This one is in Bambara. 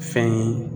Fɛn ye